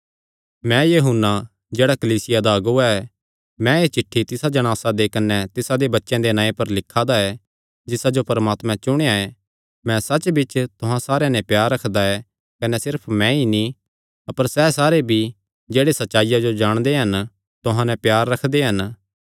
मैं यूहन्ना जेह्ड़ा कलीसिया दा अगुआ ऐ मैं एह़ चिठ्ठी तिसा जणासा दे कने तिसादे बच्चेयां दे नांऐ पर लिखा दा ऐ जिसा जो परमात्मे चुणेया ऐ मैं सच्चबिच्च तुहां सारेयां नैं प्यार रखदा ऐ कने सिर्फ मैंई नीं अपर सैह़ सारे भी जेह्ड़े सच्चाईया जो जाणदे हन तुहां नैं प्यार रखदे हन